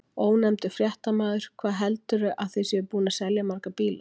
Ónefndur fréttamaður: Hvað heldurðu að þið séuð búin að selja marga bíla?